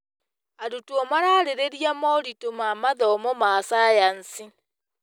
Arutwo mararĩrĩria moritũ ma mathomo ma cayanci.